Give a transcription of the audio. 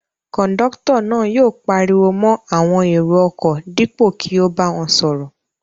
Kọ̀ńdọ́tọ̀ náà yóò pariwo mọ́ àwọn èrò-ọkọ̀ dípò kí ó bá wọn sọ̀rọ̀.